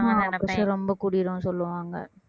ஆமா pressure ரொம்ப கூடிரும்னு சொல்லுவாங்க